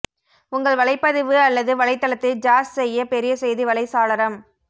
உங்கள் வலைப்பதிவு அல்லது வலைத்தளத்தை ஜாஸ் செய்ய பெரிய செய்தி வலை சாளரம்